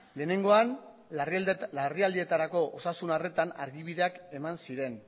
lehenengoan larrialditarako osasun arretan argibideak eman ziren